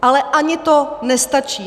Ale ani to nestačí.